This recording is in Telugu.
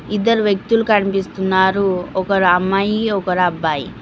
ఇద్దరు వ్యక్తులు కనిపిస్తున్నారు ఒకరు అమ్మాయి ఒకరు అబ్బాయి.